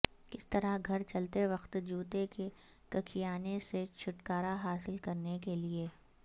کس طرح گھر چلتے وقت جوتے کے ککیانا سے چھٹکارا حاصل کرنے کے لئے